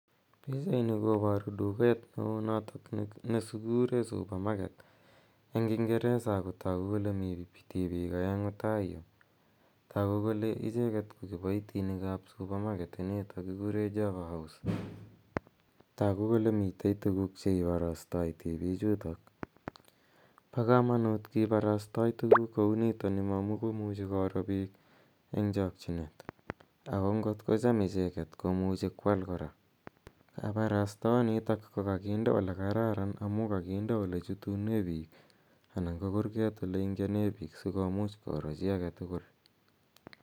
Pichaini koparu duket ne oo notok ne kikure supermarket eng' kingeresa ako tagu kole mi piik aeng'u taoi yu ako tagu kole pichutok ko kipaitinik ap supermarket initok kikure Java House. Tagu kole mitei tuguuk che iparastai tipichutok. Pa kamanut kiparastai tuguk kou nitani amu imuchi koro piik eng' chakchinet ako ngot kocham icheget komuchi ko al kora. Kaparastaonitak ko kakinde ole kararan amu kakinde olechutune piik anan ko kurget ole ingiane piik , si komuch koro chi age tugul.